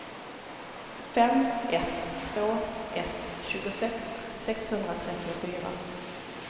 fem ett två ett tjugosex sexhundratrettiofyra